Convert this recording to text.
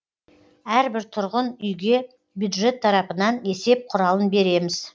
әрбір тұрғын үйге бюджет тарапынан есеп құралын береміз